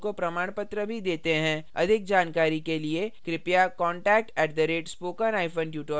अधिक जानकारी के लिए कृपया contact @spokentutorial org पर लिखें